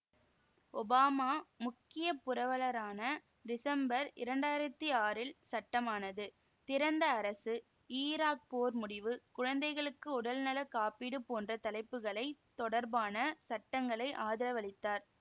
Obama முக்கிய புரவலரான December இரண்டு ஆயிரத்தி ஆறில் சட்டமானது திறந்த அரசு ஈராக் போர் முடிவு குழந்தைகளுக்கு உடல்நல காப்பீடு போன்ற தலைப்புகளை தொடர்பான சட்டங்களை ஆதரவளித்தார்